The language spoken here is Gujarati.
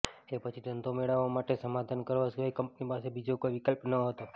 એ પછી ધંધો મેળવવા માટે સમાધાન કરવા સિવાય કંપની પાસે બીજો કોઈ વિકલ્પ નહોતો